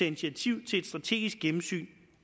initiativ til et strategisk gennemsyn